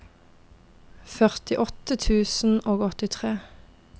førtiåtte tusen og åttitre